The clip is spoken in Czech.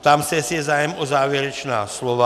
Ptám se, jestli je zájem o závěrečná slova.